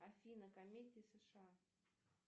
афина комедии сша